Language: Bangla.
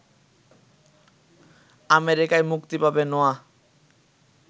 আমেরিকায় মুক্তি পাবে নোয়াহ